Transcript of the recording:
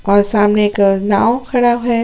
और सामने एक नाव खड़ा है।